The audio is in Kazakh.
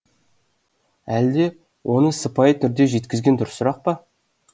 әлде оны сыпайы түрде жеткізген дұрысырақ па